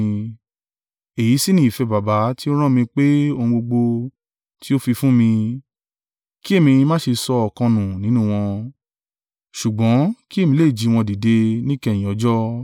Èyí sì ni ìfẹ́ Baba tí ó rán mi pé ohun gbogbo tí o fi fún mi, kí èmi má ṣe sọ ọ̀kan nù nínú wọn, ṣùgbọ́n kí èmi lè jí wọn dìde níkẹyìn ọjọ́.